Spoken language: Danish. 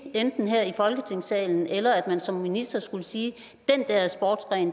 enten vi her i folketingssalen eller man som minister skulle sige